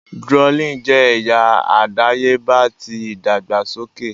Drooling jẹ ẹya adayeba ti idagbasoke.